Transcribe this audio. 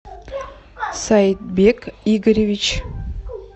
сайбек игоревич